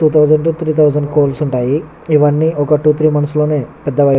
Two thousand to three thousand కొడుల్లు ఉంటాయి. ఇవని వొక టూ త్రీ మంత్స్ లో పెదగై --